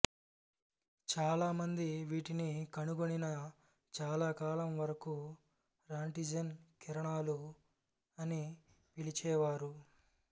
చాలామంది వీటిని కనుగొనిన చాలా కాలం వరకు రాంటిజెన్ కిరణాలు అని పిలిచేవారు